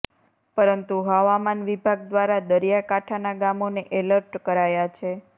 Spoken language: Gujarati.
પરંતુ હવામાન વિભાગ દ્વારા દરિયાકાંઠાના ગામોને એલર્ટ કરાયા છે